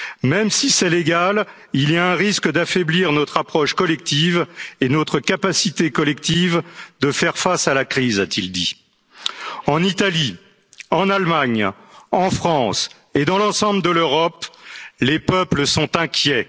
française. Même si c'est légal, il y a un risque d'affaiblir notre approche collective et notre capacité collective de faire face à la crise, a t il dit. En Italie, en Allemagne, en France et dans l'ensemble de l'Europe, les peuples